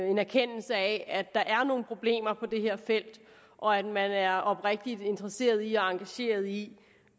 en erkendelse af at der er nogle problemer på det her felt og at man er oprigtig interesseret i og engageret i